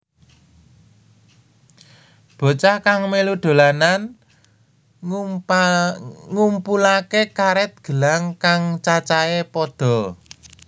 Bocah kang mèlu dolanan ngumpulaké karèt gelang kang cacahé pada